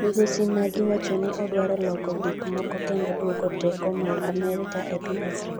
Migosi Nagy wacho ni odwaro loko gik moko kendo duoko teko mar Amerka e piny Afrika.